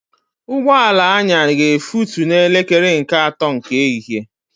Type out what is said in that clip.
Ụgbọala anya ga efutu na elekere nke ato nke ehihie